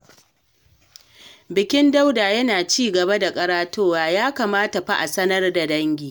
Bakin Dauda yana ci gaba da ƙaratowa, ya kamata fa a sanar da dangi.